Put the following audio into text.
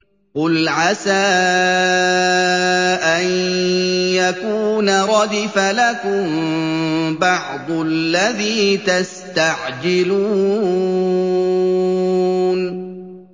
قُلْ عَسَىٰ أَن يَكُونَ رَدِفَ لَكُم بَعْضُ الَّذِي تَسْتَعْجِلُونَ